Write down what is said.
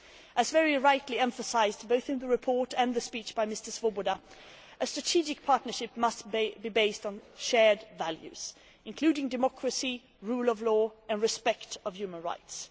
As very rightly emphasised both in the report and the speech by Mr Swoboda, a strategic partnership must be based on shared values, including democracy, the rule of law and respect for human rights.